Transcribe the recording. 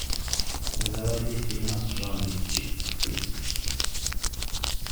заводи фильмас в жанре чик флик